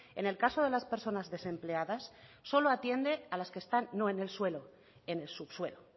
en el caso de las personas desempleadas solo atiende a las que están no en el suelo en el subsuelo